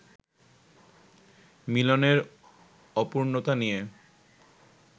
মিলনের অপূর্ণতা নিয়ে